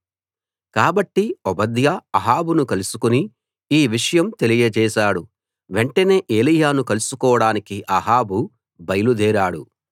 కాబట్టి ఓబద్యా అహాబును కలుసుకుని ఈ విషయం తెలియచేశాడు వెంటనే ఏలీయాను కలుసుకోడానికి అహాబు బయలుదేరాడు